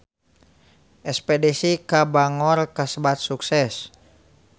Espedisi ka Bangor kasebat sukses